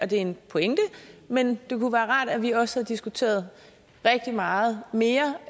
det er en pointe men det kunne være rart at vi også havde diskuteret rigtig meget mere